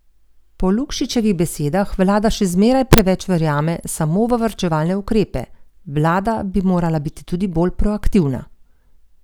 Po Lukšičevih besedah vlada še zmeraj preveč verjame samo v varčevalne ukrepe: 'Vlada bi morala biti tudi bolj proaktivna.